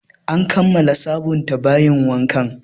An kammala sabunta bayin wanka